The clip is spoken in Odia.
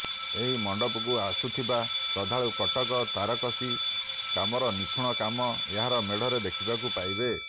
ଏହି ମଣ୍ଡପକୁ ଆସୁଥିବା ଶ୍ରଦ୍ଧାଳୁ କଟକ ତାରକସୀ କାମର ନିଖୁଣ କାମ ଏହାର ମେଢରେ ଦେଖିବାକୁ ପାଇବେ